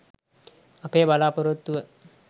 අපේ බලාපොරොත්තුව